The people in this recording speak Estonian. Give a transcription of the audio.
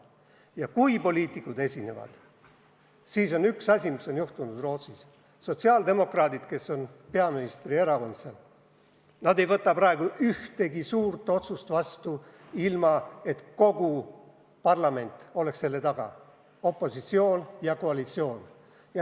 Ja kui poliitikud esinevad, siis on Rootsis juhtunud üks asi: sotsiaaldemokraadid, kes on peaministri erakond, ei võta praegu ühtegi suurt otsust vastu, ilma et kogu parlament oleks selle taga, nii opositsioon kui ka koalitsioon.